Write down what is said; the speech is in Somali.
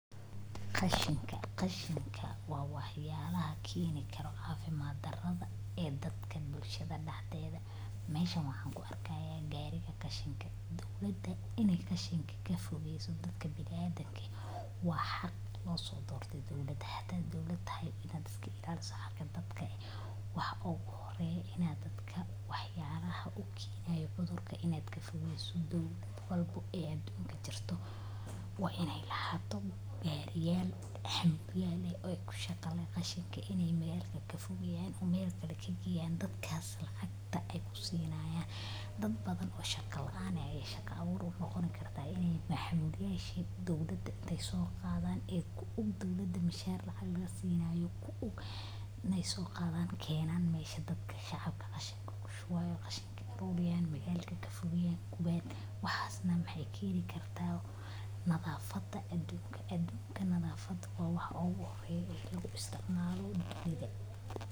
Qashinka qashinka wa waxyalaha keni karo cafimad dara e dadka bulshada daxdeda meshan waxan kuarkaya gariga qashanka e mida dowlada wa inay qashin kafogeyso bini adamka wa xaq losodortay dowlada hada dowlada wa ina iska ilaliso xaqa dadka waxa ugu horeyo ina dadka waxyalaha ukenayo cudurka inad kafogeyso dowlad walba adunka jirto wa inay lahato gari yal qashinka kashqeya e kafogeya e melkala kageeyan dadkas lacagta ay kusinayan dad badan o shaqa laan ayjira shaqa abur waxay noqon karta inay xamuuliyasha dowlada inay soqadan aykun dowlada mishar lasinayo ku un inay soqada kenan mesha dadka shacabka kushubayo mesha qashinka e magalka kafogeyan guban waxay keni karta nadhafada adunka adunka nadhafada wa wax uguhoreyo lagu isticmalo dunyada.